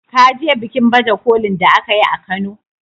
Ka je bikin baje kolin da aka yi a kano.